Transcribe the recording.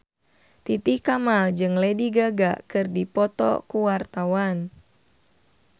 Titi Kamal jeung Lady Gaga keur dipoto ku wartawan